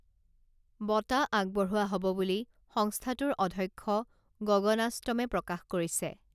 বঁটা আগবঢ়োৱা হব বুলি সংস্থাটোৰ অধ্যক্ষ গগণাষ্টমে প্ৰকাশ কৰিছে